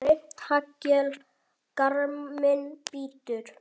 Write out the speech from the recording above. Grimmt haglél garminn bítur.